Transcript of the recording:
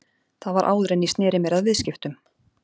Það var áður en ég sneri mér að viðskiptum.